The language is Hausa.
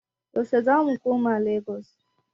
Yaushe zamu koma Lagos?